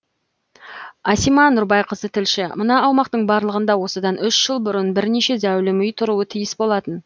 асима нұрбайқызы тілші мына аумақтың барлығында осыдан үш жыл бұрын бірнеше зәулім үй тұруы тиіс болатын